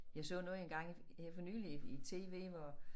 Jeg så noget engang her for nyligt i tv hvor